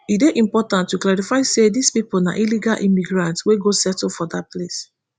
e dey important to clarify say dis pipo na illegal immigrants wey go settle for dat place